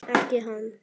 Ekki hann.